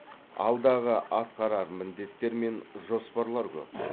алдағы атқарар міндеттер мен жоспарлар көп